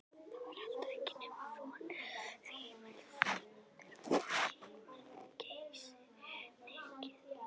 Það var heldur ekki nema von, því heimilisstörfin voru geysimikil.